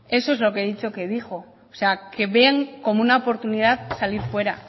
eso es lo que he dicho que dijo o sea que ven como una oportunidad salir fuera